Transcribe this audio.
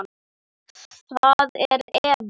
Það er Eva.